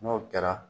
N'o kɛra